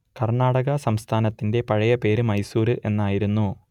കർണാടക സംസ്ഥാനത്തിന്റെ പഴയ പേര് മൈസൂർ എന്നായിരുന്നു